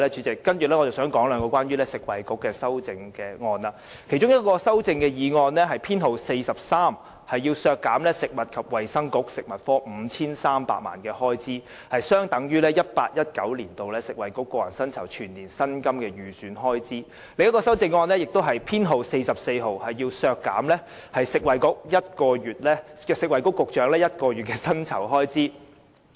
接下來，我想討論涉及食物及衞生局的修正案，其中一項是修正案編號 43， 要求削減食物及衞生局 5,300 萬元，相等於 2018-2019 年度食物及衞生局個人薪酬的全年薪金預算開支；另一項修正案編號 44， 則要求削減食物及衞生局局長1個月薪酬開支。